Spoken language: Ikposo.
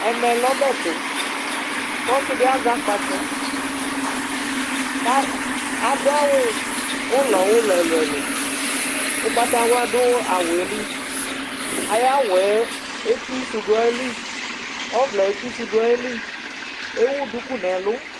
ɛmɛlɛ ɔbɛtu kɔsidi ɑzɛ ɑkpɑtsɔ kɑduɑwu ụlɔulɔ ɛluɛluɛ ụkpɑtɑylɑ du ɑwuɛli ɑyɑwu ɛtisu duɑyili ɔvlɛ ɛtisuduɑyili ɛwudukunɛlu